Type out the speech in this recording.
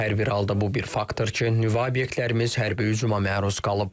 Hər bir halda bu bir faktdır ki, nüvə obyektlərimiz hərbi hücuma məruz qalıb.